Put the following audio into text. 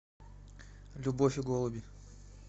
любовь и голуби